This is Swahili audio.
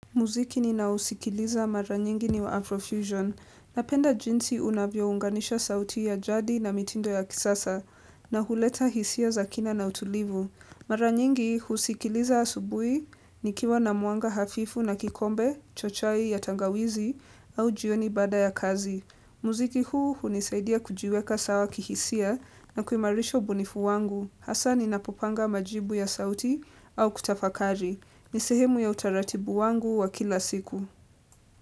Muziki ninaousikiliza mara nyingi ni wa Afrofusion. Napenda jinsi unavyounganisha sauti ya jadi na mitindo ya kisasa na huleta hisia za kina na utulivu. Mara nyingi husikiliza asubuhi nikiwa na mwanga hafifu na kikombe, cha chai ya tangawizi au jioni baada ya kazi. Muziki huu hunisaidia kujiweka sawa kihisia na kuimarisha ubunifu wangu. Hasa ninapopanga majibu ya sauti au kutafakari. Ni sehemu ya utaratibu wangu wa kila siku.